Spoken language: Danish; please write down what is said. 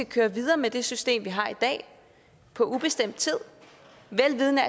køre videre med det system vi har i dag på ubestemt tid vel vidende